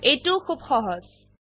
এইটোও খুব সহজ